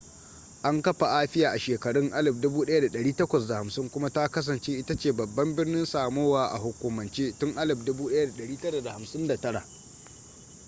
an kafa apia a shekarun 1850s kuma ta kasance ita ce babban birnin samoa a hukumance tun 1959